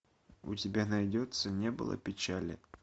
у тебя найдется не было печали